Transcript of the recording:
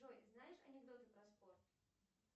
джой знаешь анекдоты про спорт